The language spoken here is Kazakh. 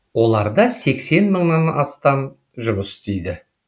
оларда сексен мыңнан астам жұмыс істейді